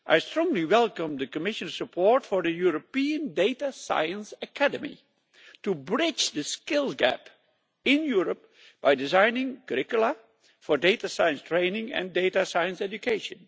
I strongly welcome the Commission's report for a European Data Science Academy to bridge the skills gap in Europe by designing curricula for data science training and data science education.